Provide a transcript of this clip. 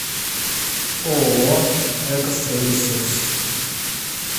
ооо экостройресурс